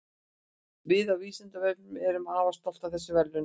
Við á Vísindavefnum erum afar stolt af þessum verðlaunum.